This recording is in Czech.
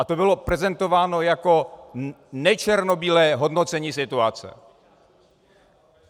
A to bylo prezentováno jako nečernobílé hodnocení situace.